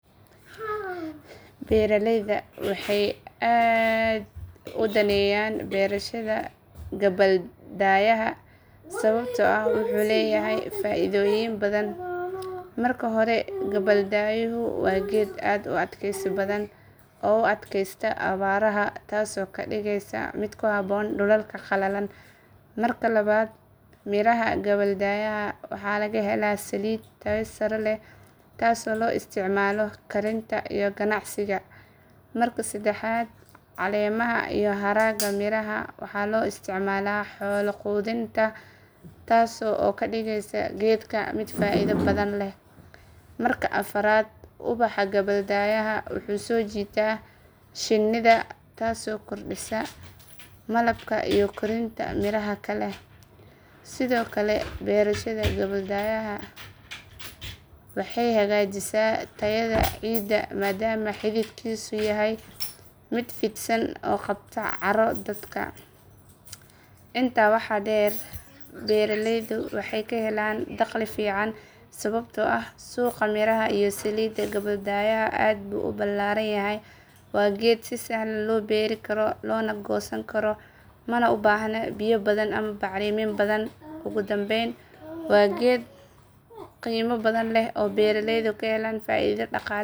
Beeralayda waxay aad u danaynayaan beerashada gabbaldayaha sababtoo ah wuxuu leeyahay faaidooyin badan. Marka hore, gabbaldayuhu waa geed aad u adkaysi badan oo u adkaysta abaaraha taasoo ka dhigaysa mid ku habboon dhulalka qalalan. Marka labaad, miraha gabbaldayaha waxaa laga helaa saliid tayo sare leh taasoo loo isticmaalo karinta iyo ganacsiga. Marka saddexaad, caleemaha iyo haragga miraha waxaa loo isticmaalaa xoolo quudin taasoo ka dhigaysa geedkan mid faaido badan leh. Marka afraad, ubaxa gabbaldayaha wuxuu soo jiitaa shinnida taasoo kordhisa malabka iyo korinta miraha kale. Sidoo kale, beerashada gabbaldayaha waxay hagaajisaa tayada ciidda maadaama xididkiisu yahay mid fidsan oo qabta carro daadka. Intaa waxaa dheer, beeraleydu waxay ka helaan dakhli fiican sababtoo ah suuqa miraha iyo saliidda gabbaldayaha aad buu u ballaaran yahay. Waa geed si sahlan loo beeri karo loona goosan karo, mana u baahna biyo badan ama bacrimin badan. Ugu dambayn, waa geed qiimo badan leh oo beeraleydu ka helaan faaido dhaqaale, deegaan iyo cunto.